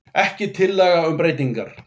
Ekki tillaga um breytingar